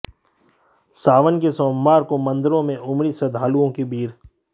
सावन के सोमवार को मंदिरों में उमड़ी श्रद्धालुओं की भीड़